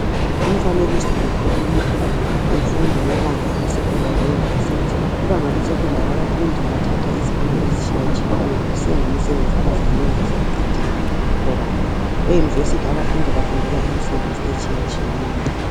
Lumfanekiso ukhuluma imfundo yebanga le secondary le university. Kubanga le secondary abafundi bathatha izifundo ezitshiya tshiyeneyo kusiya ngemisebenzi abazayenza sebeqedile loba e university abafundi bafunda imisebenzi etshiya tshiyeneyo.